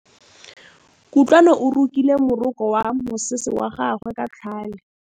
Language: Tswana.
Kutlwanô o rokile morokô wa mosese wa gagwe ka tlhale.